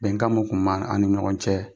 Bɛnkan mun kun ba an ni ɲɔgɔn cɛ